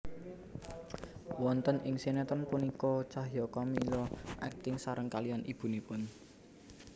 Wonten ing sinetron punika Cahya Kamila akting sareng kaliyan ibunipun